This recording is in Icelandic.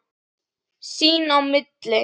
Sín á milli.